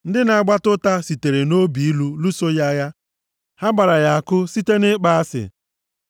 Ndị na-agbata ụta sitere nʼobi ilu lụso ya agha, ha gbara ya àkụ site nʼịkpọ asị.